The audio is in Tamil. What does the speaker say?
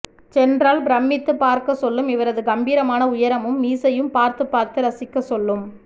சென்றால் பிரமித்து பார்க்க சொல்லும் இவரது கம்பிரமான உயரமும் மீசையும் பார்த்து பார்த்து ரசிக்க சொல்லும்